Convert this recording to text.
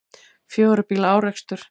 Fjögurra bíla árekstur